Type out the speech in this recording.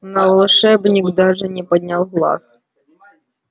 но волшебник даже не поднял глаз